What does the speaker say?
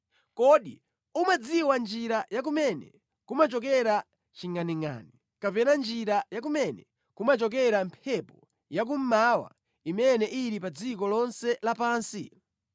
Kodi umadziwa njira ya kumene kumachokera chingʼaningʼani kapena njira ya kumene kumachokera mphepo ya kummawa imene ili pa dziko lonse lapansi?